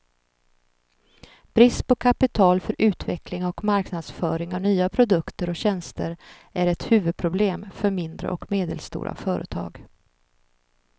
Brist på kapital för utveckling och marknadsföring av nya produkter och tjänster är ett huvudproblem för mindre och medelstora företag.